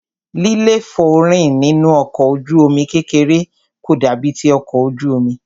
líléfòórìn nínú ọkọ̀ ojú omi kékeré kò dàbí ti ọkọ̀ ojú omi.